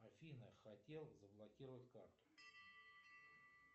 афина хотел заблокировать карту